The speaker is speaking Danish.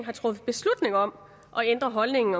har truffet beslutning om at ændre holdningen